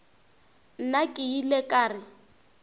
nna ke ile ka re